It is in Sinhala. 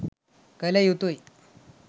කළ යුතුයි.